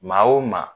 Maa o maa